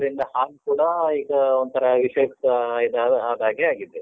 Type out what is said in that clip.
ಅದ್ರಿಂದ ಹಾಲ್ ಕೂಡಾ ಈಗ ಒಂಥರಾ ವಿಷಯುಕ್ತ ಇದಾದ ಅದಾಗೇ ಆಗಿದೆ.